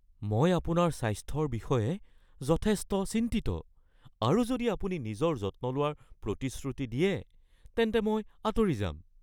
মই আপোনাৰ স্বাস্থ্যৰ বিষয়ে যথেষ্ট চিন্তিত আৰু যদি আপুনি নিজৰ যত্ন লোৱাৰ প্ৰতিশ্ৰুতি দিয়ে তেন্তে মই আঁতৰি যাম।